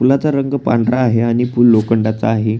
पुलाचा रंग पांढरा आहे आणि पुल लोखंडाचा आहे.